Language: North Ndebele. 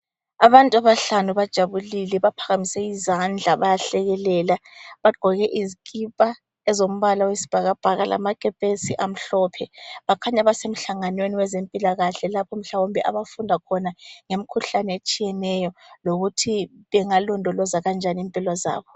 Abantu abahlanu bajabulile baphakamise izandla bayahlekelela bagqoke izikipa ezombala eyosibhakabhaka lamakepesi amhlophe. Bakhanya basemhlangwaneni wezempilakahle lapha mhlawumbe abafunda khona ngemikhuhlane etshiyeneyo lokuthi bengalondoloza kanjani impilo zabo.